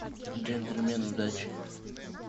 джентльмены удачи